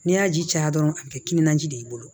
N'i y'a ji caya dɔrɔn a bi kɛ timinanja de ye i bolo